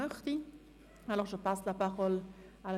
Möchte sich die Motionärin nochmals äussern?